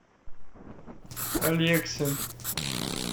алексин